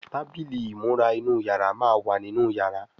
Tábìlì ìmúra inú yàrá má wá nínú yàrá.